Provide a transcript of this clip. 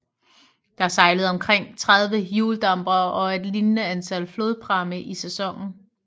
Der sejlede omkring 30 hjuldampere og et lignende antal flodpramme i sæsonen